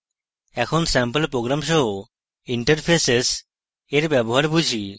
এখন sample program সহ interfaces এর ব্যবহার বুঝি